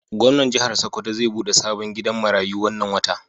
Gomnan jihar sokoto zai bude sabon gidan maratu wannan wata